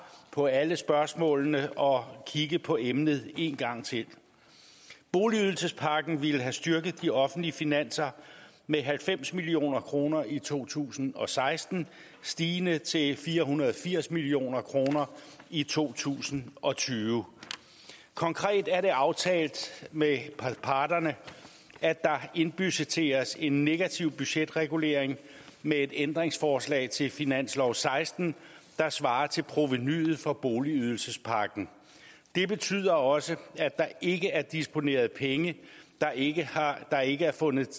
på alle spørgsmålene og kigge på emnet en gang til boligydelsespakken ville have styrket de offentlige finanser med halvfems million kroner i to tusind og seksten stigende til fire hundrede og firs million kroner i to tusind og tyve konkret er det aftalt med parterne at der indbudgetteres en negativ budgetregulering med et ændringsforslag til finansloven seksten der svarer til provenuet for boligydelsespakken det betyder også at der ikke er disponeret penge der ikke er ikke er fundet